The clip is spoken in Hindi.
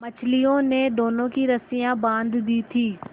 मछलियों ने दोनों की रस्सियाँ बाँध दी थीं